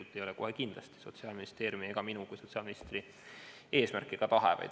See ei ole kohe kindlasti Sotsiaalministeeriumi ega minu kui sotsiaalministri eesmärk või tahe.